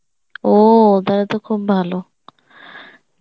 ও তাহলে তো খুব ভালো